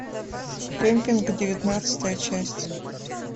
кемпинг девятнадцатая часть